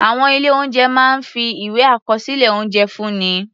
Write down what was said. Àwọn ilé-oúnjẹ máa ń fi ìwé àkọsílẹ̀ oúnjẹ fúnni.